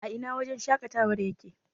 a Ina wajen shaƙatawar yake?